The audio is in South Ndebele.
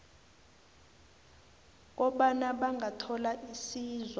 kobana bangathola isizo